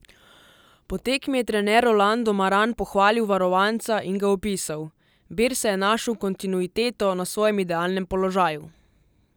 Po tekmi je trener Rolando Maran pohvalil varovanca in ga opisal: "Birsa je našel kontinuiteto na svojem idealnem položaju.